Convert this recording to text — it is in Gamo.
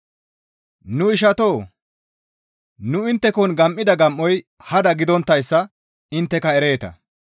Nu ishatoo! Nu inttekon gam7ida gam7oy hada gidonttayssa intteka ereeta.